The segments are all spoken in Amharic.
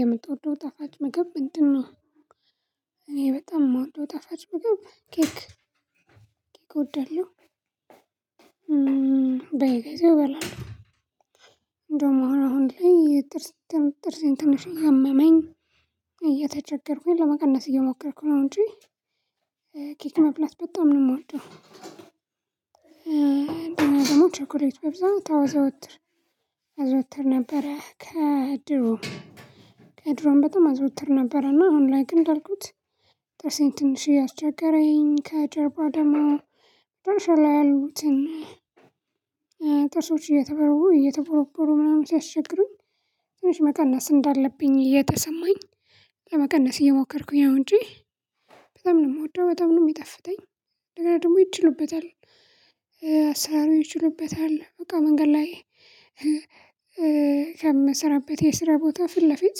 የምትወደው ጣፋጭ ምግብ ምንድነው እኔ በጣም የምወደው ጣፋጭ ምግብ ኬክ ኬክ እወዳለሁ በየ ጊዜው እበላለሁ ጥርሴን ትንሽ እያመመኝ እየተቸገርኩኝ ለመቀነስ እየሞከርኩ ነው እንጂ ኬክ መብላት በጣም ነው የምወደው እና ደግሞ ቸኮሌት በብዛት አዘወትር ነበረ ከድሮ ከድሮም በጣም አዘውትር ነበር እና አሁን ላይ ግን እንዳልኩት ጥርሴን ትንሽ እያስቸገረኝ ከጀርባ ደግሞ መጨረሻ ላይ ያሉትን እየተቆረቆሩ ምናምን ሲያስቸግሩኝ ትንሽ መቀነስ እንዳለብኝ እየተሰማኝ ለመቀነስ እየሞከርኩኝ ነው እንጂ በጣም ነው የምወደው በጣም ነው ሚጣፍጠኝ እንደ ገና ደግሞ ይችሉበታል አሰራሩ ይችሉበታል በቃ መንገድ ላይ የምሰራበት የስራ ቦታ ፊት ለፊት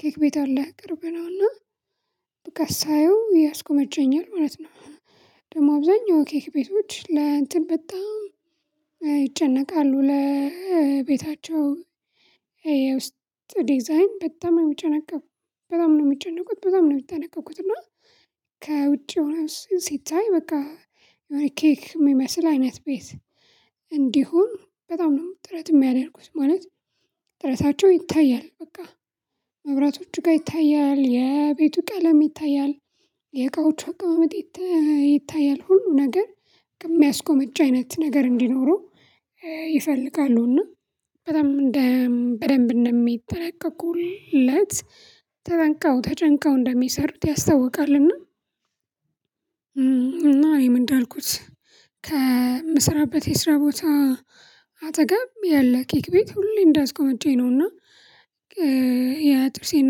ኬክ ቤት አለ ቅርብ ነውና በቃ ሳየው ያስጎመጀኛል ማለት ነው ደግሞ አብዛኛው ኬክ ቤቶች ለእንትን በጣም ይጨነቃሉ ለቤታቸው የውስጥ ዲዛይን በጣም የሚጨነቁ በጣም ነው የሚጨነቁት በጣም ነው የሚጠነቀቁት እና ከውጪ ሆኖ ሲታይ በቃ የሆነ ኬክ የሚመስል አይነት ቤት እንዲሁ በጣም ነው ጥረት ሚያደረኩት ማለት ጥረታቸው ይታያል በቃ መብራቶቹ ጋር ይታያል የቤቱ ቀለም ይታያል የቃዎች አቀማመጥ ይታያል ሁሉ ነገር ከሚያስጎመጅ አይነት ነገር እንዲኖረው ይፈልጋሉ እና በጣም በደንብ እንደሚጠነቀቁለት ተጠንቀው ተጨንቀው እንደሚሰሩት ያስተውቃልና እና እኔም እንዳልኩት ከምስራበት የስራ ቦታ አጠገብ ያለ ኬክ ቤት ሁሌ እንዳስጎመጀኝ ነውና የጥርሴን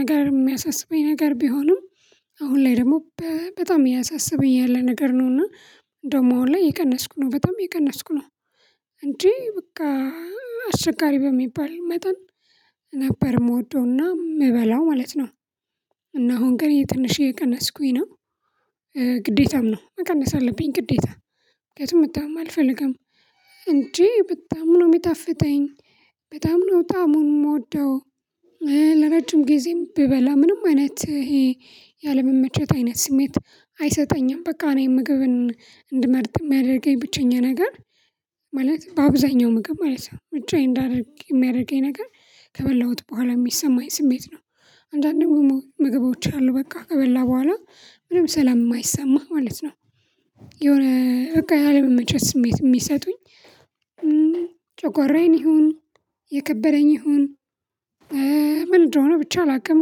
ነገር የሚያሳስበኝ ነገር ቢሆንም አሁን ላይ ደሞ በጣም እያሳሰበኝ ያለ ነገር ነው እና እንደውም አሁን ላይ የቀነስኩ ነው በጣም የቀነስኩ ነው እንጂ በቃ አስቸጋሪ በሚባል መጠን ነበር የምወደውና የምበላው ማለት ነው እና አሁን ግን ትንሽ የቀነስኩኝ ነው ግዴታም ነው መቀነስ አለብኝ ግዴታ ምክንያቱም መታመም አልፈልግም እንጂ በጣም ነው የሚጣፍተኝ በጣም ነው ጣሙን ምወደው ለረጅም ጊዜም ብበላ ምንም አይነት ይሄ ያለመመቸት አይነት ስሜት አይሰጠኝም። በቃ እኔ ምግብን እንድመርጥ የሚያደርገኝ ብቸኛ ነገር ማለት በአብዛኛው ምግብ ማለት ነው ምርጫዬ እንዳደርግ የሚያደርገኝ ነገር ከበላሁት በኋላ የሚሰማኝ ስሜት ነው። አንዳንድ ምግቦች አሉ በቃ ከበላህ በኋላ ምንም ሰላም የማይሰማህ ማለት ነው። የሆነ በቃ ያለመመቸት ስሜት የሚሰጡኝ ጨጓራዬን ይሁን፣ እየከበደኝ ይሁን ምን እንደሆነ ብቻ አላውቅም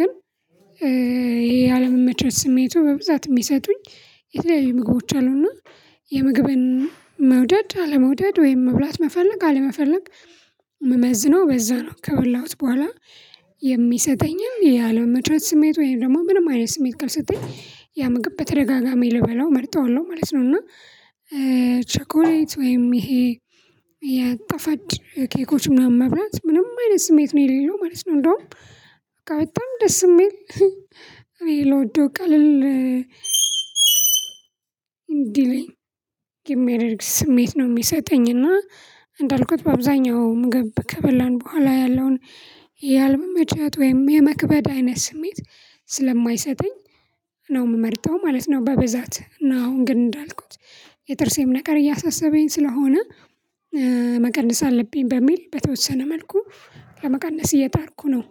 ግን ያለመመቸት ስሜቱ በብዛት የሚሰጡኝ የተለያዩ ምግቦች አሉና የምግብን መውደድ አለመውደድ ወይም መብላት መፈለግ አለመፈለግ የምመዝነው በዛ ነው። ከበላሁት በኋላ የሚሰጠኝን ያለለመመቸት ስሜት ወይም ደግሞ ምንም አይነት ስሜት ካልሰጠኝ ያ ምግብ በተደጋጋሚ ልበላው እመርጠዋለሁ ማለት ነው እና ቸኮሌት ወይም ይሄ የጣፋጭ ኬኮች ምናምን መብላት ምንም አይነት ስሜት ነው የሌለው ማለት ነው። እንዳውም በቃ በጣም ደስ የሚል እኔ ልወደው ቀልል እንዲለኝ የሚያደርግ ስሜት ነው የሚሰጠኝ እና እንዳልኩት በአብዛኛው ምግብ ከበላን በኋላ ያለውን ያለመመቸት ወይም የመክበድ አይነት ስሜት ስለማይሰጠኝ ነው የምመርጠው ማለት ነው በብዛት እና አሁን ግን እንዳልኩት የጥርሴም ነገር እያሳሰበኝ ስለሆነ መቀነስ አለብኝ በሚል በተወሰነ መልኩ ለመቀነስ እየጣርኩ ነው